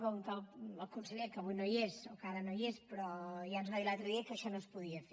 com que el conseller que avui no hi és o que ara no hi és però ja ens va dir l’altre dia que això no es podia fer